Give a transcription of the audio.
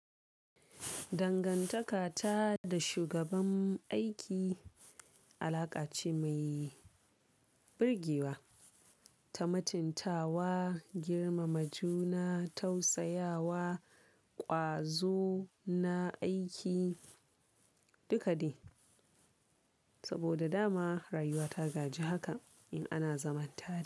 Dangantaka ta da shugaban aiki alaƙa ce mai birgewa, ta mutuntawa, girmama juna, tausayawa, ƙwazo na aiki duka de. Saboda dama rayuwa ta gaji haka in ana zaman tare.